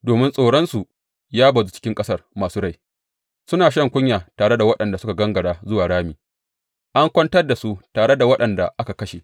Domin tsoronsu ya bazu cikin ƙasar masu rai, suna shan kunya tare da waɗanda suka gangara zuwa rami; an kwantar da su tare da waɗanda aka kashe.